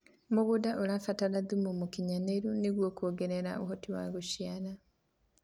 mĩgũnda irabatara thumu mũũkĩnyanĩru nĩguo kuo ngerera uhoti wa guciara